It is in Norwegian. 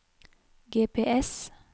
GPS